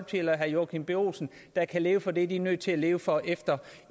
eller herre joachim b olsen der kan leve for det som de er nødt til at leve for efter